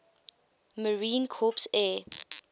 marine corps air